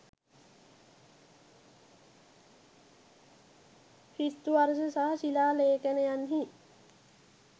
ක්‍රිස්තු වර්ෂ සහ ශිලා ලේඛනයන්හි